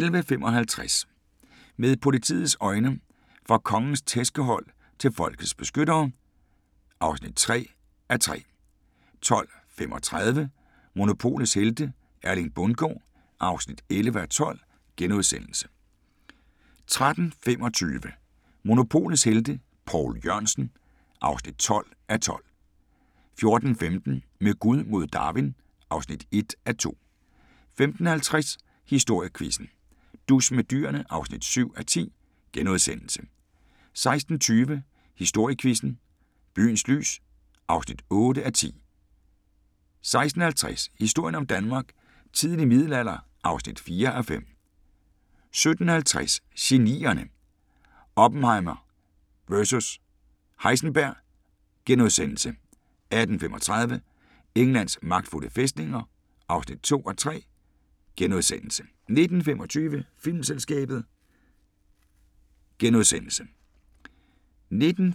11:55: Med politiets øjne: Fra Kongens tærskehold til folkets beskyttere (3:3) 12:35: Monopolets helte - Erling Bundgaard (11:12)* 13:25: Monopolets Helte – Poul Jørgensen (12:12) 14:15: Med Gud mod Darwin (1:2) 15:50: Historiequizzen: Dus med dyrene (7:10)* 16:20: Historiequizzen: Byens lys (8:10) 16:50: Historien om Danmark: Tidlig middelalder (4:5) 17:50: Genierne: Oppenheimer vs Heisenberg * 18:35: Englands magtfulde fæstninger (2:3)* 19:25: Filmselskabet *